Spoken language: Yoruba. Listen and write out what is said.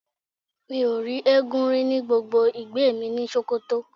Mi ò rí eégún rí ní gbogbo ìgbẹ́ mi ni ìlú Sókótó.